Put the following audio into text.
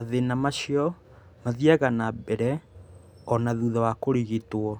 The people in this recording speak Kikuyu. Mathĩna macio mathiaga na mbere o na thutha wa kũrigitwo.